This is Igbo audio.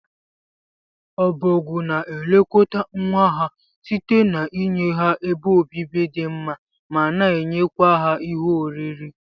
Obogwu na elekọta nwa ha site n'inye ha ebe obibi di mma mana enyekwa ha ihe oriri.